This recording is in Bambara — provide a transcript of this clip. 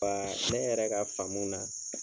Wa ne yɛrɛ ka faamu na.